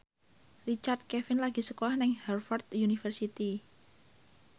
Richard Kevin lagi sekolah nang Harvard university